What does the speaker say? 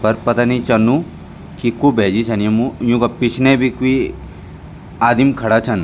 पर पता नि चलनु कि कु भैजी छन यम्मु यूंका पिछने बि क्वि आदिम खड़ा छन।